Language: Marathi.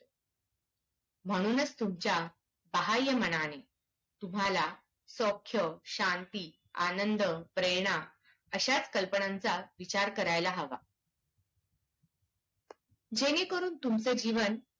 म्हणूनच तुमच्या बाह्यमनाने तुम्हाला सौख्य, शांती, आनंद, प्रेरणा अशाच कल्पनांचा विचार करायला हवा. जेणे करून तुमचे जीवन